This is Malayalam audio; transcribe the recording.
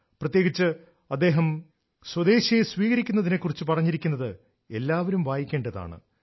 പ്രത്യേകിച്ച് അദ്ദേഹം സ്വദേശിയെ സ്വീകരിക്കുന്നതിനെക്കുറിച് പറഞ്ഞിരിക്കുന്നത് ഇന്ന് എല്ലാ പൌരൻമാരും വായിക്കേണ്ടതാണ്